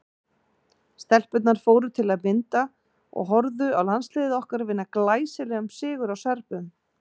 Stelpurnar fóru til að mynda og horfðu á landsliðið okkar vinna glæsilegan sigur á Serbum.